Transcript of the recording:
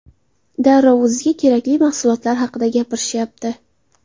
Darrov o‘ziga kerakli mahsulotlar haqida gapirishyapti.